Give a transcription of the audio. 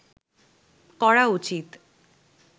করা উচিত